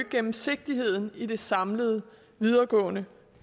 gennemsigtigheden i det samlede videregående